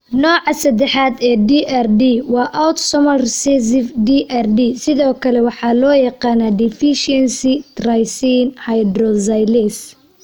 Nooca saddexaad ee DRD waa autosomal recessive DRD, sidoo kale loo yaqaan deficiency tyrosine hydroxylase.